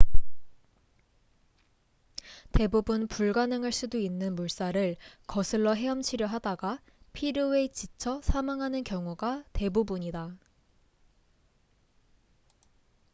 대부분 불가능할 수도 있는 물살을 거슬러 헤엄치려 하다가 피로에 지쳐 사망하는 경우가 대부분이다